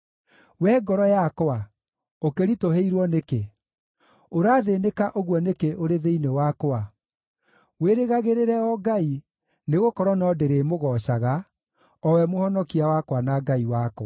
Wee ngoro yakwa, ũkĩritũhĩirwo nĩkĩ? Ũrathĩĩnĩka ũguo nĩkĩ ũrĩ thĩinĩ wakwa? Wĩrĩgagĩrĩre o Ngai, nĩgũkorwo no ndĩrĩmũgoocaga, o we Mũhonokia wakwa na Ngai wakwa.